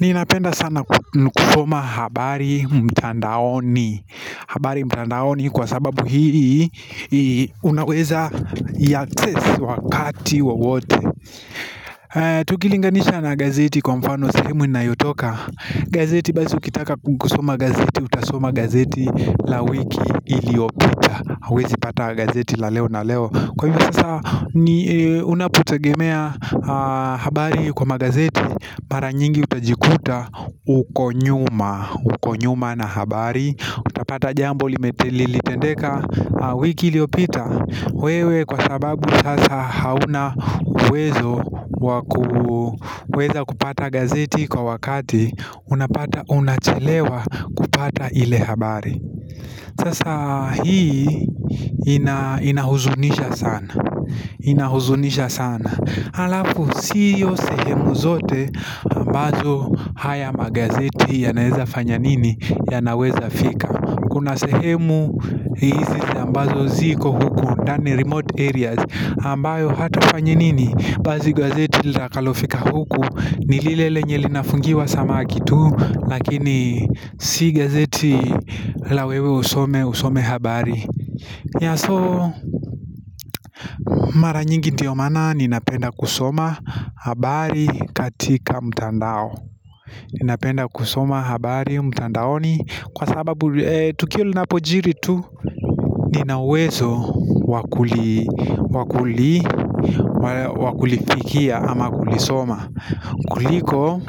Ninapenda sana kusoma habari mtandaoni habari mtandaoni kwa sababu hii unaweza iaccess wakati wowote Tukilinganisha na gazeti kwa mfano sehemu inayotoka gazeti basi ukitaka kukusoma gazeti, utasoma gazeti la wiki iliopita huwezi pata gazeti la leo na leo, kwa hivyo sasa unapotegemea habari kwa magazeti mara nyingi utajikuta uko nyuma na habari utapata jambo lime, lilitendeka wiki iliopita wewe kwa sababu sasa hauna uwezo wa ku weza kupata gazeti kwa wakati unapata unachelewa kupata ile habari Sasa hii inahuzunisha sana Inahuzunisha sana alafu sio sehemu zote ambazo haya magazeti yanaeza fanya nini, yanaweza fika, kuna sehemu hizi ambazo ziko huku ndani remote areas, ambayo hata kwa nini basi gazeti litakalofika huku ni lile lenye linafungiwa samaki tu Lakini si gazeti la wewe usome, usome habari So mara nyingi ndio maana ninapenda kusoma habari katika mtandao. Ninapenda kusoma habari mtandaoni kwa sababu tukio linapojiri tu nina uwezo wa kulifikia ama kulisoma kuliko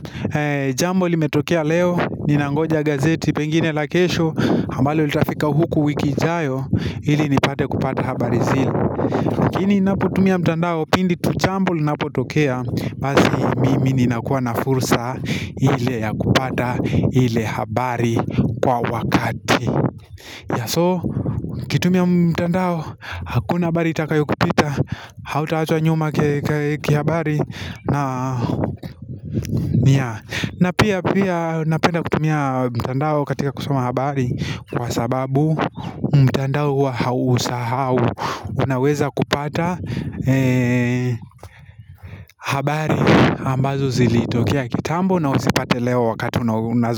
jambo limetokea leo ninangoja gazeti pengine la kesho ambalo litafika huku wiki ijayo ili nipate kupata habari zile lakini ninapotumia mtandao pindi tu jambo linapotokea basi mimi ninakuwa na fursa ile ya kupata ile habari kwa wakati so ukitumia mtandao hakuna habari itakayokupita Hautaachwa nyuma kihabari na na pia pia napenda kutumia mtandao katika kusoma habari Kwa sababu mtandao hua hausahau unaweza kupata habari ambazo zilitokea kitambo na uzipate leo wakati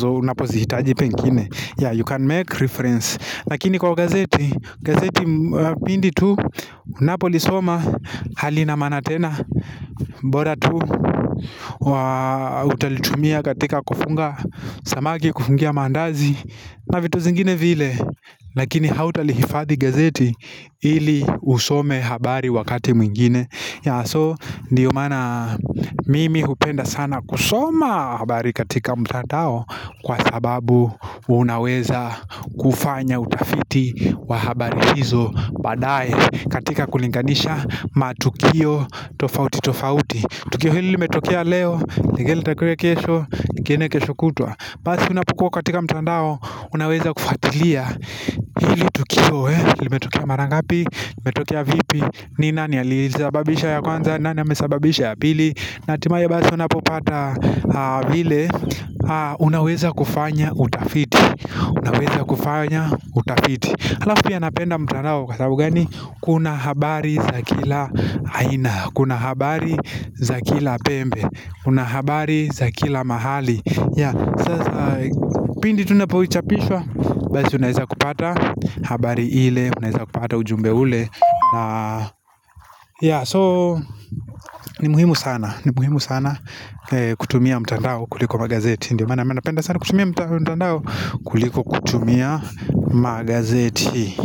unapozihitaji pengine Yeah, you can make reference Lakini kwa gazeti, gazeti pindi tu, unapolisoma halina maana tena, bora tu, utalitumia katika kufunga samaki, kufungia mandazi na vitu zingine vile lakini hautalihifadhi gazeti Ili usome habari wakati mwingine. Yeah, so ndio maana mimi hupenda sana kusoma habari katika mtadao Kwa sababu unaweza kufanya utafiti wa habari hizo baadaye katika kulinganisha matukio tofauti tofauti. Tukio hili limetokea leo lingine itakua kesho, lingine kesho kutwa, basi unapokua katika mtandao, unaweza kufuatilia hili tukio, limetukia mara ngapi, limetukia vipi, ni nani aliisababisha ya kwanza, nani amesababisha ya pili na hatimaye basi unapopata ile, unaweza kufanya utafiti, unaweza kufanya utafiti alafu pia napenda mtandao kwa sababu gani, kuna habari za kila aina, kuna habari za kila pembe, kuna habari za kila mahali, yeah sasa pindi tu inapochapishwa Basi unaeza kupata habari ile, unaeza kupata ujumbe ule, yeah so ni muhimu sana kutumia mtandao kuliko magazeti, ndio maana mimi napenda sana kutumia mtandao kuliko kutumia magazeti.